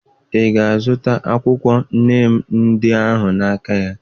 Ị ga-azụta akwụkwọ neem ndị ahụ n'aka ya?